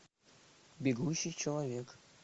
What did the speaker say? бегущий человек